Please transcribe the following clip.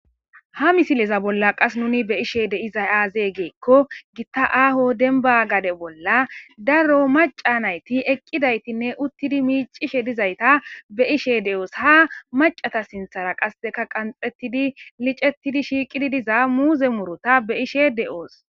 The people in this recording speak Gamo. Ha misileza bolla nu be'ishe dizay azee?giza giddiko gihta aaho demba gade bolla daro macca nayti eqqidaytinne uttidi miccishe dizayta be'os. ha maccara sinthara qasekka qanxettidi liccetidi maran de'iza muzze murutta be'ishe de'os.